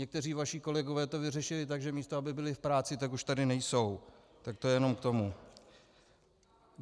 Někteří vaši kolegové to vyřešili tak, že místo aby byli v práci, tak už tady nejsou, tak to jenom k tomu.